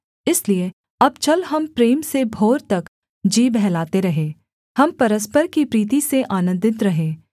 इसलिए अब चल हम प्रेम से भोर तक जी बहलाते रहें हम परस्पर की प्रीति से आनन्दित रहें